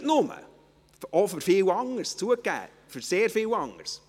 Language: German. Nicht nur, auch für viel anderes, zugegeben, auch für sehr viel anderes.